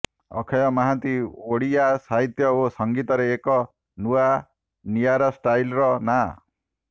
ଅକ୍ଷୟ ମହାନ୍ତି ଓଡ଼ିଆ ସାହିତ୍ୟ ଓ ସଙ୍ଗୀତରେ ଏକ ନୂଆ ନିଆରା ଷ୍ଟାଇଲ୍ର ନାଁ